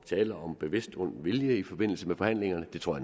tale om bevidst ond vilje i forbindelse med forhandlingerne det tror